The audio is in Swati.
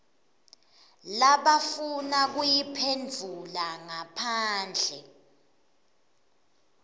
labafuna kuyiphendvula ngaphandle